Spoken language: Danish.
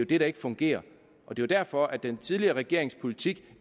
det der ikke fungerer og det er derfor at den tidligere regerings politik